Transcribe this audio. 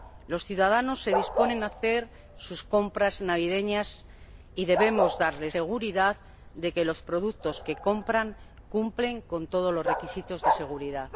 Los ciudadanos se disponen a hacer sus compras navideñas y debemos garantizarles que los productos que compran cumplen con todos los requisitos de seguridad.